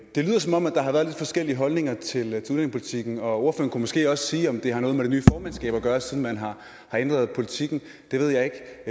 det lyder som om der har været lidt forskellige holdninger til udlændingepolitikken og ordføreren kunne måske også sige om det har noget med det nye formandskab at gøre siden man har ændret politikken det ved jeg ikke